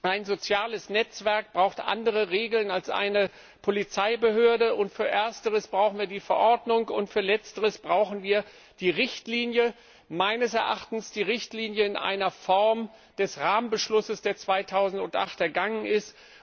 Ein soziales Netzwerk braucht andere Regeln als eine Polizeibehörde, für ersteres brauchen wir die Verordnung, für letzteres brauchen wir die Richtlinie meines Erachtens die Richtlinie in Form des Rahmenbeschlusses, der 2008 ergangen ist.